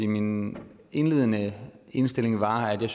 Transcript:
min indledende indstilling var at jeg